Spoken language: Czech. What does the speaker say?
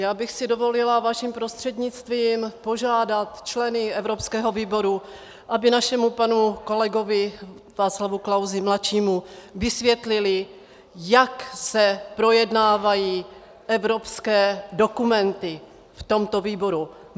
Já bych si dovolila vaším prostřednictvím požádat členy evropského výboru, aby našemu panu kolegovi Václavu Klausovi mladšímu vysvětlili, jak se projednávají evropské dokumenty v tomto výboru.